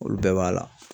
Olu bɛɛ b'a la